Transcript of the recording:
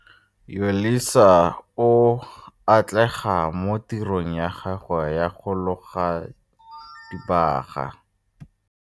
Yolisa o a atlega mo tirong ya gagwe ya go loga dibaga.